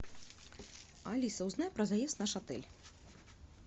алиса узнай про заезд в наш отель